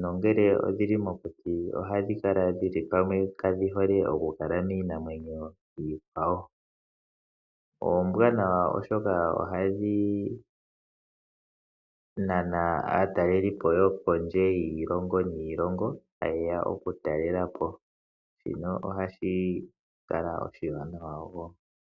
nongele odhili mokuti ohadhi kala dhili pamwe kadhi hole okukala miinamwenyo iikwawo. Oombwanawa oshoka kgadhi nana aatalelipo yokondje yiilongo niilongo ta yeya oku talelapo, shino ohashi kala oshiwanawa woo.